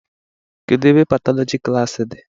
Kedụ ebe Patọlọji klaasị di?